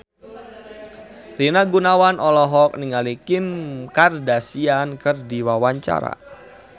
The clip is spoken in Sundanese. Rina Gunawan olohok ningali Kim Kardashian keur diwawancara